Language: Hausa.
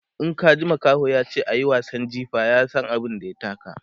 In ka ji makaho yace ayi wasan jifa, ya San abun da ya taka